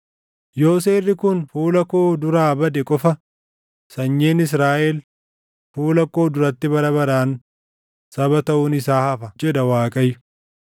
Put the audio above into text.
“Yoo seerri kun fuula koo duraa bade qofa, sanyiin Israaʼel, fuula koo duratti bara baraan saba taʼuun isaa hafa” jedha Waaqayyo.